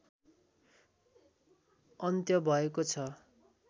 अन्त्य भएको छ